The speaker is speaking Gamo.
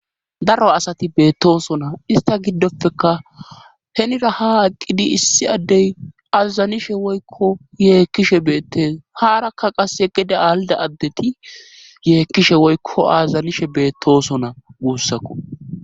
daro asati beettosona ista giddopeka henira ha aqqidi issi addey azazanishe woykko yeekkishe beettes haarakka qase geda alda addeti yeekkishe woykko azazanishe beettosona wuussakko